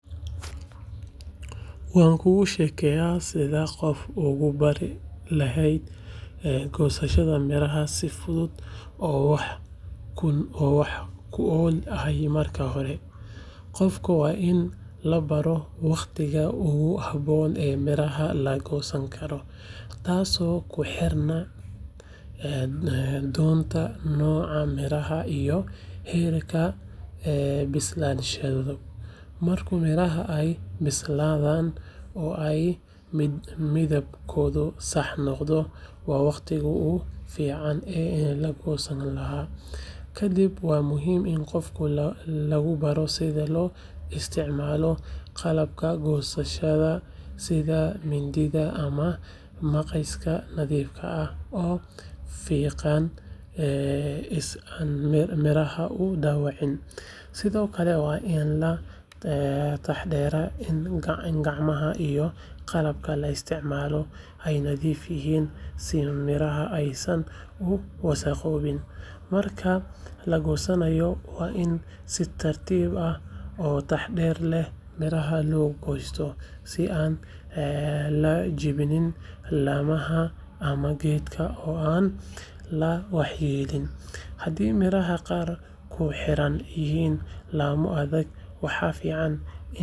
Waankugu sheegayaa sidaad qof ugu bari lahayd goosashada miraha si fudud oo wax ku ool ah marka hore, qofka waa in la baro waqtiga ugu habboon ee miraha la goosan karo, taasoo ku xirnaan doonta nooca miraha iyo heerka bislaanshahooda, marka miraha ay bislaan oo ay midabkoodu sax noqdo waa waqtigii ugu fiican ee la goosan lahaa. Kadib, waa muhiim in qofka lagu baraa sida loo isticmaalo qalabka goosashada sida mindiyaha ama maqasyo nadiif ah oo fiiqan si aan miraha u dhaawacmin, sidoo kale waa in la taxaddaraa in gacmaha iyo qalabka la isticmaalo ay nadiif yihiin si miraha aysan u wasakhoobin. Marka la goosanayo, waa in si tartiib ah oo taxadar leh miraha loo goostaa si aan la jebin laamaha ama geedka oo aan la waxyeeleynin, hadii miraha qaar ay ku xidhan yihiin laamo adag, waxaa fiican in.